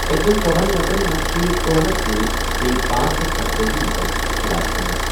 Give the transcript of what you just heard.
پٔتِمٮ۪ن ژۄہنَ گٲنٛٹن منٛز چھِ کورونا سۭتۍ بیٚیہِ پانژھ ہتھَ ستتأجی نفر ہلاک گٔمٕتۍ۔